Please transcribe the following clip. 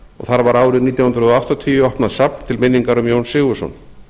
þar var árið nítján hundruð áttatíu opnað safn til minningar um jón sigurðsson